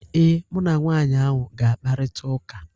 Ee, mụ na nwaanyị ahụ ga-akparịta ụka.